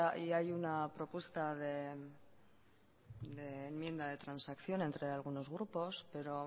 y hay una propuesta de enmienda de transacción entre algunos grupos pero